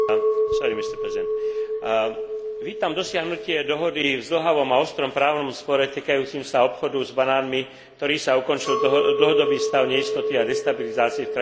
Vítam dosiahnutie dohody v zdĺhavom a ostrom právnom spore týkajúcom sa obchodu s banánmi, ktorou sa ukončil dlhodobý stav neistoty a destabilizácie v krajinách produkujúcich a obchodujúcich s banánmi.